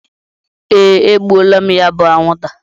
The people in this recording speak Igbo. Ee, egbuola m ya bu anwụnta.